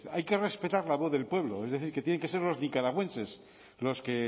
hay que respetar la voz del pueblo es decir que tienen que ser los nicaragüenses los que